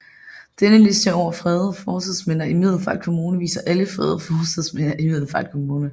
Denne liste over fredede fortidsminder i Middelfart Kommune viser alle fredede fortidsminder i Middelfart Kommune